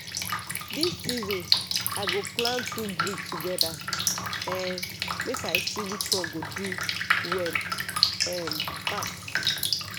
this season i go plant two breed together um make i see which one go do well um pass.